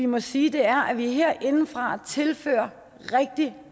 må sige er at vi herindefra tilfører rigtig